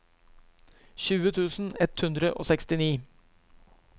tjue tusen ett hundre og sekstini